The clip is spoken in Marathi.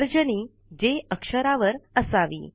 तर्जनी जे अक्षरावर असावी